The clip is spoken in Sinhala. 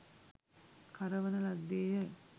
කරවන ලද්දේ ය